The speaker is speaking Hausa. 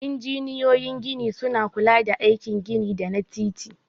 Injiniyoyin gini suna kula da aikin gini da na titi.